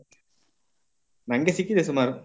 ನನಗೆ ಸಿಕ್ಕಿದೆ ಸುಮಾರು.